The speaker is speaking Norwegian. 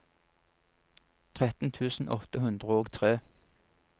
tretten tusen åtte hundre og tre